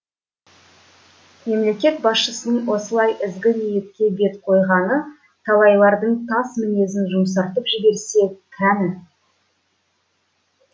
мемлекет басшысының осылай ізгі ниетке бет қойғаны талайлардың тас мінезін жұмсартып жіберсе кәні